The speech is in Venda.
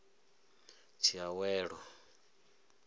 tshiawelo